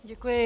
Děkuji.